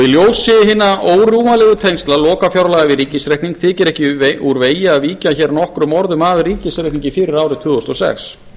í ljósi hinna órjúfanlegu tengsla lokafjárlaga við ríkisreikning þykir ekki úr vegi að víkja hér nokkrum orðum að ríkisreikningi fyrir árið tvö þúsund og sex